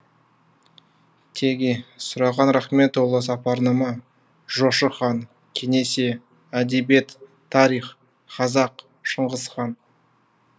теги сұраған рахметұлы сапарнама жошы хан кесене әдебиет тарих қазақ шыңғыс хан